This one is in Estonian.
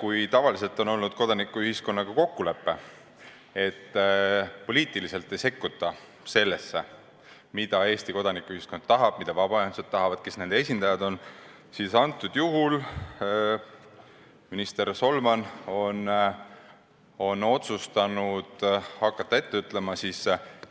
Kui tavaliselt on olnud kokkulepe, et poliitiliselt ei sekkuta sellesse, mida Eesti kodanikuühiskond tahab, mida vabaühendused ja nende esindajad tahavad, siis nüüd on minister Solman hakanud ette ütlema,